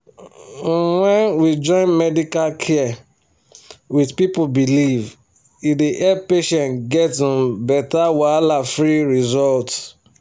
um when we join medical care with people belief e dey help patients get um better wahala-free result.